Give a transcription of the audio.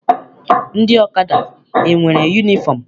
Ndị ọkada enwere yunifọm?